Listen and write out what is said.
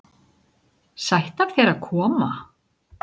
Sætt af þér að koma.